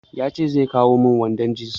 Ya ce zai kawo min wandon jins.